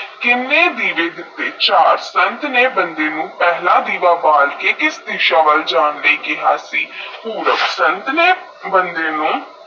ਸੰਤ ਨੇ ਬੰਦੇ ਨੂੰ ਕਿੰਨੇ ਦੀਵੇ ਦਿੱਤੇ ਚਾਰ ਸੰਤ ਨੇਈ ਬੰਦੇ ਪਹਿਲਾ ਦੀਵਾ ਬਾਲ ਕੇ ਕਿਸ ਦਿਸ਼ਾ ਵਾਲ ਜਾਣ ਨੂੰ ਕਿਹਾ ਸੀ ਪੁਰਬ